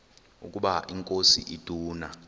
ukaba inkosi ituna